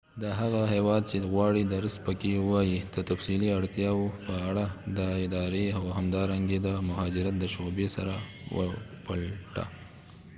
د هغه هیواد چې غواړې درس پکې ووایې د تفصیلي اړتیاوو په اړه د ادارې او همدارنګه د مهاجرت د شعبې سره وپلټه